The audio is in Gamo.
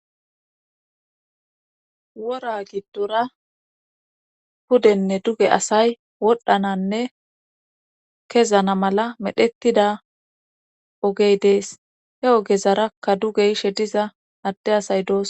Wora giddora pudenne duge asay wodhdhananne kezana malla medhdhettida ogey dees he ogezarakka duge yishe diza adde asay doosona